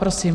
Prosím.